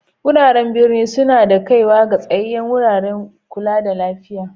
Wuraren birni suna da kaiwa ga tsayayen wuraren ƙulla da lafiya.